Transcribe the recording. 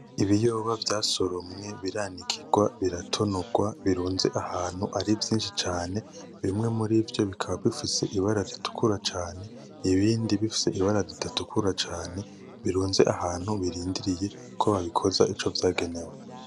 Ibiyoba vyasoromwe, biranikirwa, biratonorwa, birunze ahantu ari vyinshi cane. Bimwe murivyo bikaba bifise ibara ritukura cane, ibindi bifise ibara ridatukura cane birunze ahantu birindiriye kobabikoza ico vyagenewe.